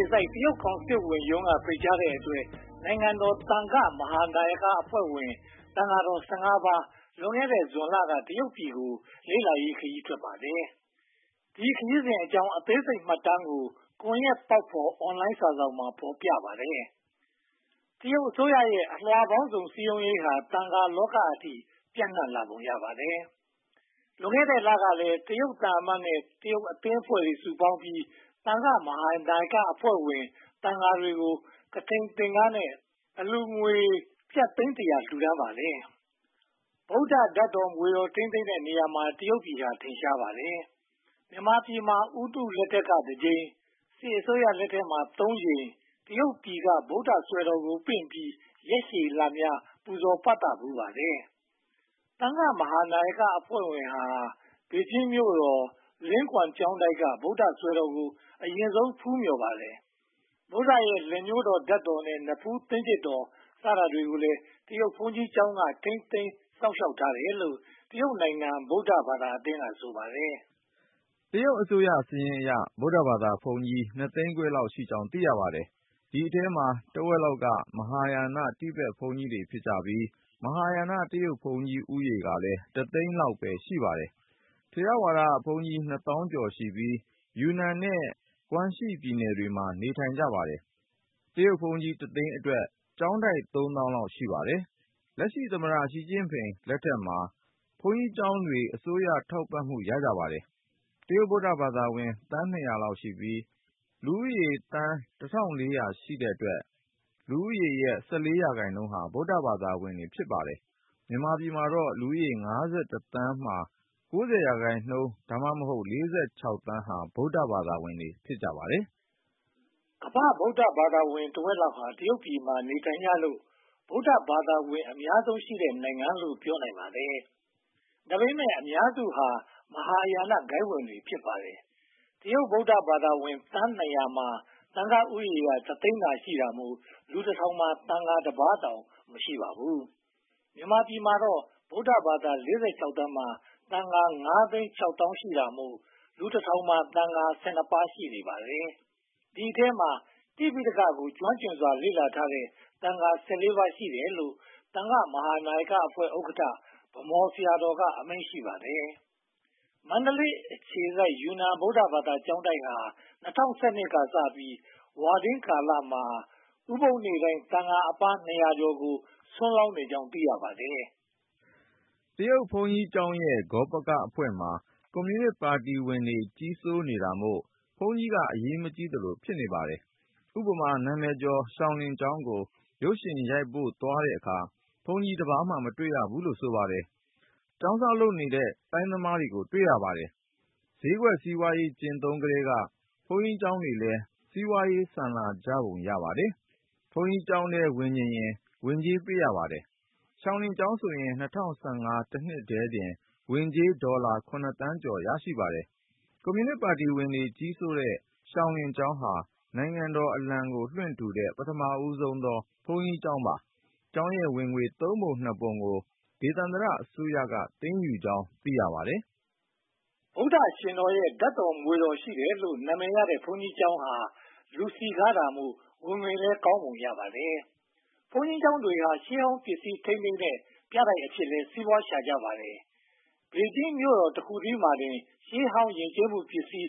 ေစိုက် တရုတ်ကောင်စစ်ဝန်ချုပ်ရုံးက ဖိတ်ကြားတဲ့အတွက် နိုင်ငံတော်သံဃာ့မဟာနာယကအဖွဲ့ဝင် သံဃာတော် (၁၅) ပါး လွန်ခဲ့တဲ့ဇွန်လက တရုတ်ပြည်ကို လေ့လာရေးခရီး ထွက်ခဲ့ပါတယ်။ ဒီခရီးစဉ်အကြောင်း အသေးစိတ်မှတ်တမ်းကို 'ကွန်ရက်ပေါက်ဖော်' အွန်လိုင်းစာစောင်မှာ ဖော်ပြထားပါတယ်။ တရုတ်အစိုးရရဲ့ အလွှာပေါင်းစုံစည်းရုံးရေးဟာ သံဃာလောကအထိ ပြန့်နံှ့လာပုံ ရပါတယ်။ လွန်ခဲ့တဲ့လကလည်း တရုတ်သံအမတ်နဲ့ တရုတ်အသင်းအဖွဲ့ စုပေါင်းပြီး သံဃာမဟာနာယကအဖွဲ့ဝင် သံဃာတွေကို ကထိန်းသင်္ကန်းနဲ့ အလှုငွေကျပ်သိန်း (၁၀၀) ကျော် လှူဒါန်းပါတယ်။ ဗုဒ္ဓဓါတ်တော် မွေတော် ထိန်းသိမ်းတဲ့နေရာမှာ တရုတ်ပြည်ဟာ ထင်ရှားပါတယ်။ မြန်မာပြည်မှာ ဝန်ကြီးချုပ်ဦးနုလက်ထက် (၁၉၅၅) က တကြိမ်၊ စစ်အစိုးရလက်ထက်မှာ သုံးကြိမ် (၁၉၉၄၊ ၁၉၉၆၊ ၂၀၁၁) တို့မှာ တရုတ်ပြည်က ဗုဒ္ဓစွယ်တော်ကိုပင့်ပြီး ရက်ရှည်လများ ပူဇော်ပသဖူးပါတယ်။ သံဃာ့မဟာနာယကအဖွဲ့ဟာ ဘေဂျင်မြို့တော် လင်းကွမ်းကျောင်းတိုက်က ဗုဒ္ဓစွယ်တော်ကို အရင်ဆုံးဖူးမြော်ပါတယ်။ ဗုဒ္ဓရဲ့ လက်ညှိုးတော်ဓါတ်တော်နဲ့ နဖူးသင်းကျစ်တော် စတာတွေကိုလည်း တရုတ်ဘုန်းကြီးကျောင်းက ထိန်းသိမ်းစောင့်ရှောက်ထားတယ်လို့ တရုတ်ဗုဒ္ဓဘာသာအသင်းက ဆိုပါတယ်။ တရုတ်အစိုးရစာရင်းအရ ဗုဒ္ဓဘာသာဘုန်းကြီး နှစ်သိန်းခွဲလောက်ရှိကြောင်း သိရပါတယ်။ ဒီအထဲမှာ တဝက်လောက်က မဟာယာန တိဘက်ဘုန်းကြီးတွေဖြစ်ပြီး မဟာယာန တရုတ်ဘုန်းကြီးဦးရေကလည်း တသိန်းလောက်ပဲ ရှိပါတယ်။ ထေရဝါဒဘုန်းကြီး နှစ်သောင်းကျော်ရှိပြီး ယူနန်နဲ့ ဂွမ့်ရှီ ပြည်နယ်တွေမှာ နေထိုင်ကြပါတယ်။ တရုတ်ဘုန်းကြီးတသိန်းအတွက် ကျောင်းတိုက်သုံးသောင်းလောက် ရှိပါတယ်။ လက်ရှိ သမ္မတရှီကျင့်ဖိန် လက်ထက်မှာ ဘုန်းကြီးကျောင်းတွေ အစိုးရထောက်ပံ့မှု ရကြပါတယ်။ တရုတ် ဗုဒ္ဓဘာသာဝင် သန်း (၂၀၀) လောက်ရှိပြီး လူဦးရေသန်း (၁၄၀၀) ရှိတဲ့အတွက် လူဦးရေရဲ့ (၁၄) ရာခိုင်နှုန်းဟာ ဗုဒ္ဓဘာသာဝင်တွေ ဖြစ်နေပါတယ်။ မြန်မာပြည်မှာတော့ လူဦးရေ (၅၁) သန်းမှာ (၉၀) ရာခိုင်နှုန်း (သို့မဟုတ်) (၄၆) သန်းဟာ ဗုဒ္ဓဘာသာဝင်တွေ ဖြစ်ကြပါတယ်။ ကမ္ဘာ့ ဗုဒ္ဓဘာသာဝင် တဝက်လောက်ဟာ တရုတ်ပြည်မှာ နေထိုင်ကြလို့ ဗုဒ္ဓဘာသာဝင် အများဆုံးရှိတဲ့နိုင်ငံလို့ ပြောနိုင်ပါတယ်။ ဒါပေမဲ့ အများစုဟာ မဟာယာနဂိုဏ်းဝင်တွေ ဖြစ်ပါတယ်။ တရုတ် ဗုဒ္ဓဘာသာဝင် သန်း (၂၀၀) မှာ သံဃာဦးရေဟာ တသိန်းသာရှိလို့ လူတထောင်မှာ သံဃာတပါးတောင် မရှိပါဘူး။ မြန်မာပြည်မှာတော့ ဗုဒ္ဓဘာသာ (၄၆) သန်းမှာ သံဃာ (၅) သိန်း၊ (၆) သောင်း ရှိတာမို့ လူတထောင်မှာ သံဃာ (၁၂) ပါး ရှိနေပါတယ်။ ဒီအထဲမှာ တိပိဋကကို ကျွမ်းကျင်စွာ လေ့လာထားတဲ့ သ့ဃာတော် (၁၄) ပါးရှိတယ်လို့ သံဃာ့မဟာနာယကအဖွဲ့ ဥက္ကဋ္ဌ ဗန်းမော်ဆရာတော်က အမိန့်ရှိပါတယ်။ မန္တလေးအခြေစိုက် ယူနန် ဗုဒ္ဓဘာသာကျောင်းတိုက်ဟာ ၂၀၁၂ ကစပြီး ဝါတွင်းကာလမှာ ဥပုသ်နေ့တိုင်း သံဃာအပါး နှစ်ရာကျော် (၂၅၆) ပါးကို ဆွမ်းလောင်းနေကြောင်း သိရပါတယ်။ တရုတ်ဘုန်းကြီးကျောင်းရဲ့ ဂေါပကအဖွဲပမှာ ကွန်မြူနစ်ပါတီဝင်တွေ ကြီးစိုးတာမို့ ဘုန်းကြီးက အရေးမကြီးသလို ဖြစ်နေပါတယ်။ ဥပမာ နာမည်ကျော်ရှောင်လင်ကျောင်းကို ရုပ်ရှင်ရိုက်ဖို့ သွားတဲ့အခါ ဘုန်းကြီးတပါးမှာ မတွေ့ရဘူးလို့ ဆိုပါတယ်။ ကျောင်းစောင့်လုပ်တဲ့ သိုင်းသမားတွေကိုသာ တွေ့ရပါတယ်။ ဈေးကွက်စီးပွားရေး ကျင့်သုံးကတည်းက ဘုန်းကြီးကျောင်းတွေလည်း စီးပွားရေးဆန်လာကြပုံ ရပါတယ်။ ဘုန်းကြီးကျောင်းထဲဝင်ချင်ရင် ဝင်ကြေးပေးရပါတယ်။ ရှောင်လင်ကျောင်းဆိုရင် ၂၀၁၅ တနှစ်ထဲမှာတင် ဝင်ကြေးဒေါ်လာ (၇) သန်းကျော် ရရှိပါတယ်။ ကွန်မြူနစ်ပါတီဝင်တွေ ကြီးစိုးနေတဲ့ ရှောင်လင်ကျောင်းဟာ နိုင်ငံတော်အလံကို လွှင့်ထူထားတဲ့ ပထမဦးဆုံးသော ဘုန်းကြီးကျောင်း ဖြစ်ပါတယ်။ ကျောင်းရဲ့ဝင်ငွေ သုံးပုံ-နှစ်ပုံကို ဒေသန္တရအစိုးရက သိမ်းယူကြောင်း သိရပါတယ်။ ဗုဒ္ဓရှင်တော်ရဲ့ ဓါတ်တော်မွေတော် ရှိတယ်လို့ နာမည်ရတဲ့ ဘုန်းကြီးကျောင်းဟာ လူစည်းကားတာမို့ ဝင်ငွေလည်း ကောင်းပုံရပါတယ်။ ဘုန်းကြီးကျောင်းတွေဟာ ရှေ့ဟောင်းပစ္စည်းထိန်းသိမ်းတဲ့ ပြတိုက်အဖြစ်လည်း စီးပွားရှာကြပါတယ်။ ဘေဂျင်းမြို့တော် တခုတည်းမှာပင် ရှေးဟောင်းယဉ်ကျေးမှုပစ္စည်း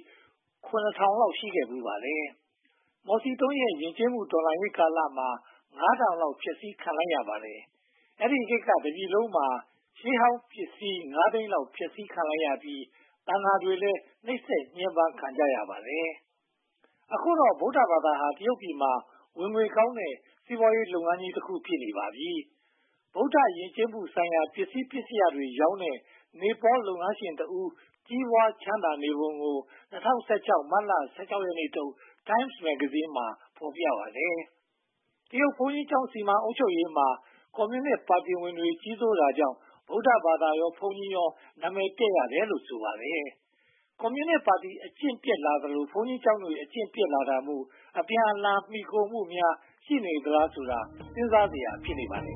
(၇၀၀၀) လောက် ရှိခဲ့ဖူးပါတယ်။ မော်စီတုန်းရဲ့ ယဉ်ကျေးမှုတော်လှန်ရေးကာလမှာ (၅၀၀၀) လောက် ဖျက်ဆီးခြင်း ခံလိုက်ရပါတယ်။ အဲဒီခေတ်မှာ တပြည်လုံးမှာ ရှေးဟောင်းယဉ်ကျေးမှုပစ္စည်း (၅) သိန်းလောက် ဖျက်ဆီးခံလိုက်ရပြီး သံဃာတွေလည်း နှိပ်စက်ညှဉ်းပမ်းခံကြရပါတယ်။ အခုတော့ ဗုဒ္ဓဘာသာဟာ တရုတ်ပြည်ရဲ့ ဝင်ငွေကောင်းတဲ့ စီးပွားရေးလုပ်ငန်းကြီးတခု ဖြစ်နေပါပြီ။ ဗုဒ္ဓယဉ်ကျေးမှုဆိုင်ရာ ပစ္စည်းပစ္စယတွေရောင်းတဲ့ နေပေါလ်လုပ်ငန်းရှင်တဦး ကြီးပွားချမ်းသာနေပုံကို ၂၀၁၆ မတ်လ (၁၆) ရက်နေ့ထုတ် တိုင်းမ်စ် မဂ္ဂဇင်းကြီးမှာ ဖော်ပြထားပါတယ်။ တရုတ်ဘုန်းကြီးကျောင်း စီမံခန့်ခွဲအုပ်ချုပ်ရေးမှာ ကွန်မြူနစ်ပါတီဝင်တွေ ကြီးစိုးတာကြောင့် ဗုဒ္ဓဘာသာရော၊ ဘုန်းကြီးတွေရော နာမည်ပျက်ရတယ်လို့ ဆိုပါတယ်။ ကွန်မြူနစ်ပါတီ အကျင့်ပျက်လာသလို ဘုန်းကြီးကျောင်းတွေလည်း အကျင့်ပျက်လာတာမို့ အပြန်အလှန် မှီခိုမှုတွေများ ရှိနေသလားဆိုတာ စဉ်းစားစရာ ဖြစ်နေပါတယ်